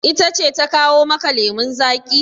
Ita ce ta kawo maka lemun zaƙi?